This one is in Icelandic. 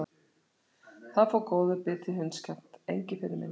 Þar fór góður biti í hundskjaft, Engiferinn minn.